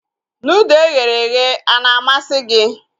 Nudụ eghere eghe ana amasị gị?